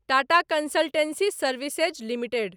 Tata consultancy services limited